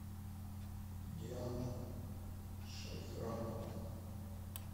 диана шайхрамовна